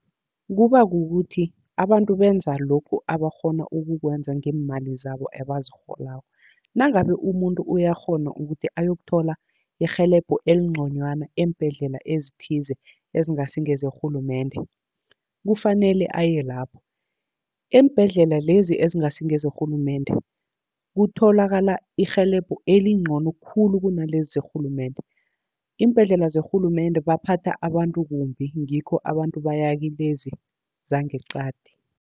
Kuba kukuthi abantu benza lokhu abakghona ukukwenza ngeemali zabo ebazirholako. Nangabe umuntu uyakghona ukuthi ayokuthola irhelebho elinconywana, eembhedlela ezithize ezingasi ngezerhulumende, kufanele aye lapho. Eembhedlela lezi ezingasi ngezerhulumende kutholakala irhelebho elincono khulu, kunalezi zerhulumende. Iimbhedlela zerhulumende baphatha abantu kumbi ngikho abantu baya kilezi zangeqadi.